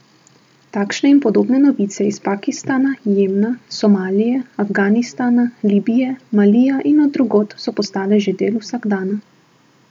Takšne in podobne novice iz Pakistana, Jemna, Somalije, Afganistana, Libije, Malija in od drugod so postale že del vsakdana.